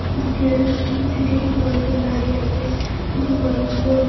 উম কএএ সিট্ - এ কিছু মানুষজন দাঁড়িয়ে আছে কিছু মানুষজন--